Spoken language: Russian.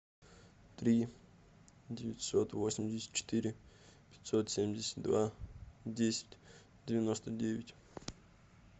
три девятьсот восемьдесят четыре пятьсот семьдесят два десять девяносто девять